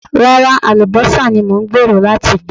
Rárá, àlùbọ́sà ni mò ń gbèrò láti gbìn.